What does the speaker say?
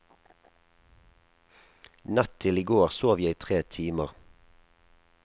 Natt til i går sov jeg tre timer.